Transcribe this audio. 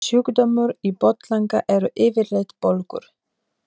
Sjúkdómar í botnlanga eru yfirleitt bólgur.